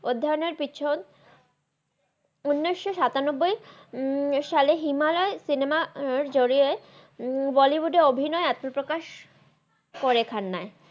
মধান্নর পেছন উনিস সাতানাব্বাই সালের হিমালে সিনেমা জরিয়ে বলিউড এ আত্মাপ্রাকাস করে খান্নাই